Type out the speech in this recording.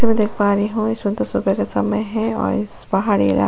मैं देख पा रही हूं है और इस पहाड़ी एला --